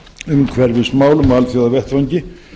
umhverfismálum á alþjóðavettvangi